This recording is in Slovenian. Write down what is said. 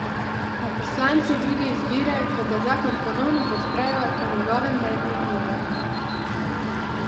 A poslanci druge izbire, kot da zakon ponovno podprejo, po njegovem mnenju nimajo.